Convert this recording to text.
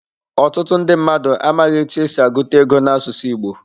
Otutu ndi mmadu amaghi etu esi aguta ego n'asusu igbo.